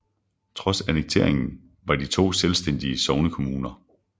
Trods annekteringen var de to selvstændige sognekommuner